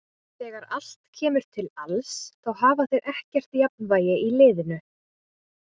Þegar allt kemur til alls þá hafa þeir ekkert jafnvægi í liðinu.